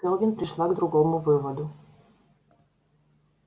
кэлвин пришла к другому выводу